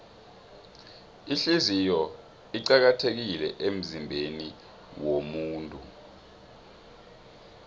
ihliziyo iqakathekile emzimbeniwomuntu